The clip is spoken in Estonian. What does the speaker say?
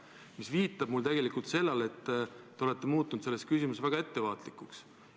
See viitab tegelikult sellele, et te olete selles küsimuses väga ettevaatlikuks muutunud.